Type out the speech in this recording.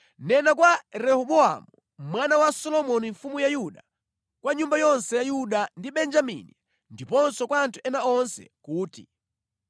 “Nena kwa Rehobowamu mwana wa Solomoni mfumu ya Yuda, kwa nyumba yonse ya Yuda ndi Benjamini, ndiponso kwa anthu ena onse kuti,